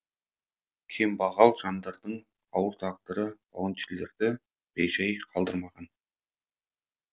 кембағал жандардың ауыр тағдыры волонтерлерді бейжай қалдырмаған